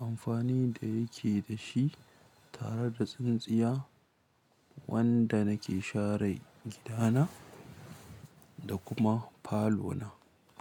Amfani da yake da shi tare da tsintsiya wanda nake share gidana da kuma falona.